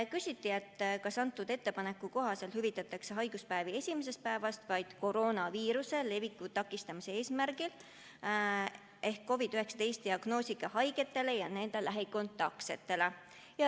Küsiti, kas selle ettepaneku kohaselt hüvitatakse haiguspäevi esimesest päevast vaid koroonaviiruse leviku takistamise eesmärgil ehk COVID-19 diagnoosiga haigetele ja nende lähikontaktsetele.